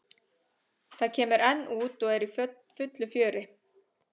Það kemur enn út og er í fullu fjöri.